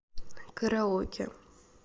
караоке